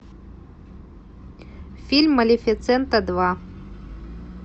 фильм малефисента два